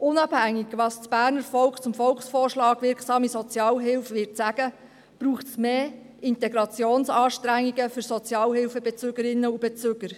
Unabhängig davon, was das Berner Volk zum Volksvorschlag «Wirksame Sozialhilfe» sagen wird, braucht es mehr Integrationsanstrengungen für Sozialhilfebezüger und -bezügerinnen.